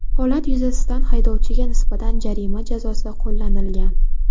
Holat yuzasidan haydovchiga nisbatan jarima jazosi qo‘llanilgan.